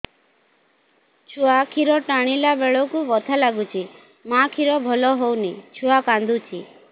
ଛୁଆ ଖିର ଟାଣିଲା ବେଳକୁ ବଥା ଲାଗୁଚି ମା ଖିର ଭଲ ହଉନି ଛୁଆ କାନ୍ଦୁଚି